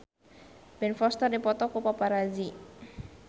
Ben Foster dipoto ku paparazi